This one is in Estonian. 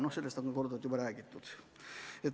Noh, sellest on juba korduvalt räägitud.